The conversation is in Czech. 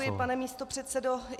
Děkuji, pane místopředsedo.